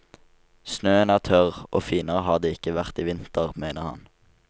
Snøen er tørr, og finere har det ikke vært i vinter, mener han.